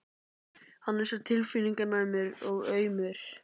Hann er svo tilfinninganæmur og aumur.